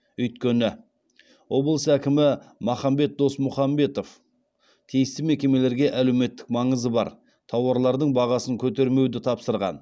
өйткені облыс әкімі махамбет досмұхамбетов тиісті мекемелерге әлеуметтік маңызы бар тауарлардың бағасын көтермеуді тапсырған